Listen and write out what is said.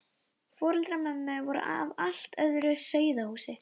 Foreldrar mömmu voru af allt öðru sauðahúsi.